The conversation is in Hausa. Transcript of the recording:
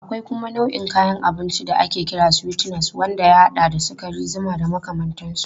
Akwai kuma nau'in kayan abinci da ake kira sweeteners wanda ya haɗa da sukari, zuma da makamantansu.